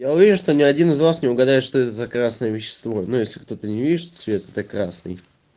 я уверен что ни один из вас не угадает что это за красное вещество ну если кто-то не видет цвет это красный